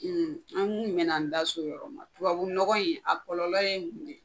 ; an muɲɛnan n da se o yɔrɔ ma; Tubabu nɔgɔ in a kɔlɔlɔ ye mun yen?